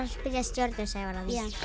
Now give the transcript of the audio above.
spyrja stjörnu Sævar jú